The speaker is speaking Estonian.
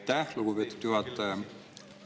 Aitäh, lugupeetud juhataja!